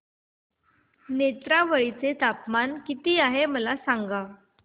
नेत्रावळी चे तापमान किती आहे मला सांगा